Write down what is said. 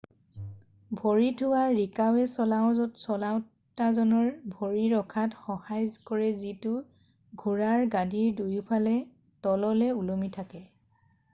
ভৰি থোৱা ৰিকাবে চলাওঁতাজনৰ ভৰি ৰখাত সহায় কৰে যিটো ঘোঁৰাৰ গাদীৰ দুয়োফালে তললৈ ওলমি থাকে